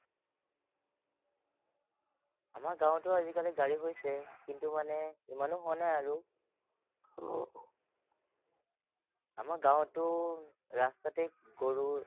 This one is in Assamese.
আহ তো আজিকালি গাড়ী হৈছে, কিন্তু মানে ইমানো হোৱা নাই আৰু আমাৰ গাঁৱততো ৰাস্তাতে গৰু